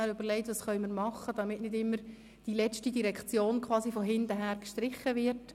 Wir haben uns überlegt, was wir tun können, damit nicht immer die letzte Direktion quasi von hinten her gestrichen wird.